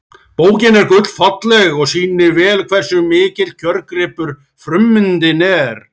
Bókin er gullfalleg og sýnir vel hversu mikill kjörgripur frummyndin er.